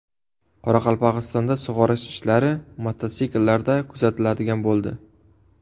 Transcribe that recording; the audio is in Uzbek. Qoraqalpog‘istonda sug‘orish ishlari mototsikllarda kuzatiladigan bo‘ldi.